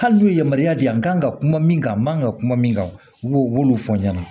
Hali n'u ye yamaruya di yan kan ka kuma min kan ka kuma min kan u b'olu fɔ n ɲɛna